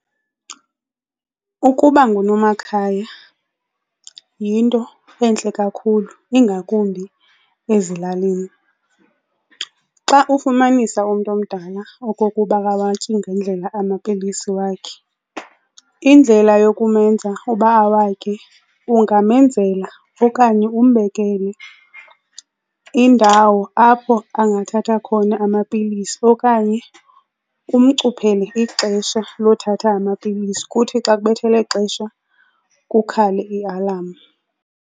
Ukuba ngunomakhaya yinto entle kakhulu ingakumbi ezilalini. Xa ufumanisa umntu omdala okokuba akawatyi ngendlela amapilisi wakhe indlela yokumenza uba awatye ungamenzela okanye umbekele indawo apho angathatha khona amapilisi okanye umcuphele ixesha lothatha amapilisi, kuthi xa kubethe elexesha kukhale i-alarm.